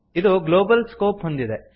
ಇದು global scope ಹೊಂದಿದೆ